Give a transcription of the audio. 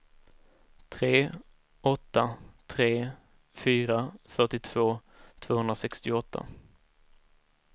tre åtta tre fyra fyrtiotvå tvåhundrasextioåtta